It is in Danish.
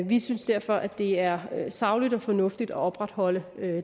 vi synes derfor at det er sagligt og fornuftigt at opretholde